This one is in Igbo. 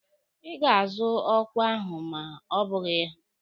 Ị ga-azụ ọkwa ahụ ma ọ bụghị ya!